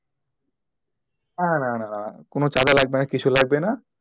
না, না, না কোন চাঁদা লাগবে না কিছু লাগবে না।